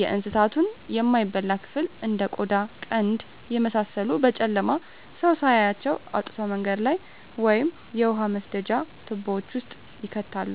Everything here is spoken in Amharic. የእንሳቱን የማይበላ ክፍል እንደ ቆዳ ቀንድ የመሳሰሉትን በጨለማ ሰው ሳያያቸው አውጥተው መንገድ ላይ ወይም የውሃ መስደጃ ትቦወች ውስጥ ይከታሉ።